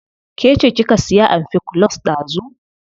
Ke ce kika siya amfikulus dazu.